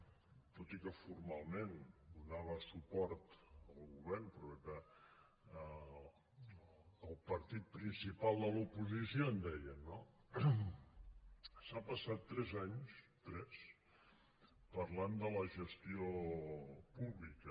tot i que formalment donava suport al govern però era del partit principal de l’oposició en deien no s’ha passat tres anys tres parlant de la gestió pública